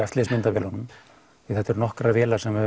eftirlitsmyndavélunum þetta eru nokkrar vélar sem við